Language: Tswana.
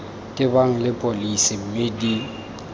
tebang le pholesi mme di